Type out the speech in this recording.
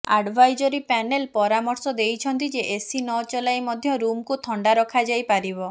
advisory panel ପରାମର୍ଶ ଦେଇଛନ୍ତି ଯେ ଏସି ନଚଲାଇ ମଧ୍ୟ ରୁମକୁ ଥଣ୍ଡା ରଖାଯାଇପାରିବ